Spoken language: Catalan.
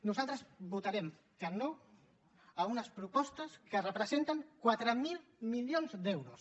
nosaltres votarem que no a unes propostes que representen quatre mil milions d’euros